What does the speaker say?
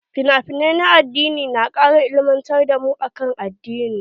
Finafinai na addini na kara ilimantar da mu akan addini.